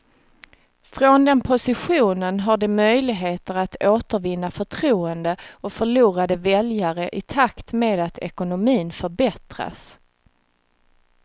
Från den positionen har de möjligheter att återvinna förtroende och förlorade väljare i takt med att ekonomin förbättras.